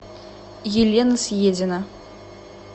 елена съедина